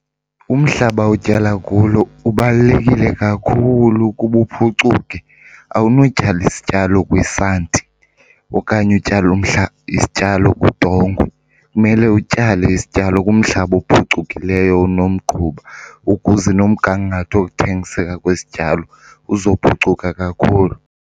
Umhlaba otyala kulo ubalulekile kakhulu ukuba uphucuke. Awunotyala isityalo kwisanti okanye utyale isityalo kudongo. Kumele utyale isityalo kumhlaba ophucukileyo onomgquba ukuze nomgangatho wokuthengiseka kwesityalo uzophucuka kakhulu.